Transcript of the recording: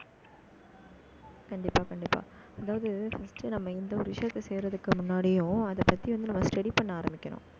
கண்டிப்பா, கண்டிப்பா. அதாவது, first நம்ம இந்த ஒரு விஷயத்த, செய்யறதுக்கு முன்னாடியும் அதை பத்தி வந்து, நம்ம study பண்ண ஆரம்பிக்கணும்